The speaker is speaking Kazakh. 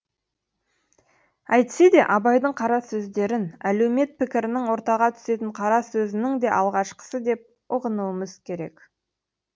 әйтсе де абайдың қара сөздерін әлеумет пікірінің ортаға түсетін қара сөзінің де алғашқысы деп ұғынуымыз керек